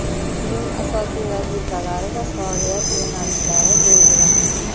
uning asosiy vazifalari va faoliyat yo‘nalishlari belgilandi.